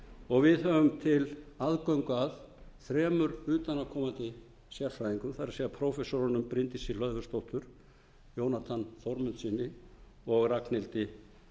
og við höfum til aðgang að þremur utanaðkomandi sérfræðingum það er prófessorunum bryndísi hlöðversdóttur jónatan þórmundssyni og ragnhildi